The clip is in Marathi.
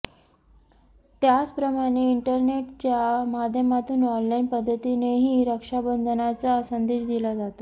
त्याचप्रमाणे इंटरनेटच्या माध्यमातून ऑनलाइन पद्धतीनेही रक्षाबंधनाचा संदेश दिला जातो